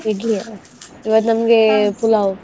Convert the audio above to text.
Idli ಯಾ, ಇವಾಗ್ ಪುಲಾವ್.